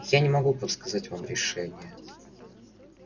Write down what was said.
я не могу подсказать вам решение